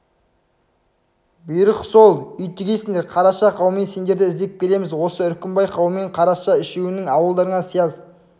бұйрық сол үй тігесіңдер қараша қаумен сендерді іздеп келеміз осы үркімбай қаумен қараша үшеуінің ауылдарында сияз